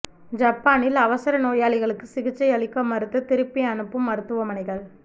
ஜப்பானில் அவசர நோயாளிகளுக்கு சிகிச்சை அளிக்க மறுத்து திருப்பி அனுப்பும் மருத்துவமனைகள்